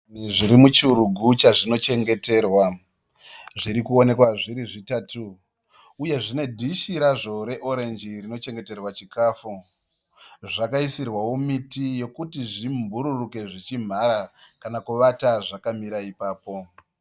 Zvishiri zviri muchirugu chazvinochengeterwa. Zviri kuonekwa zviri zvitatu uye zvine dhishi razvo reorenji rinochengeterwa chikafu. Zvakaisirwawo miti yekuti zvimbururuke zvichimhara kana kuvata zvakamira ipapo.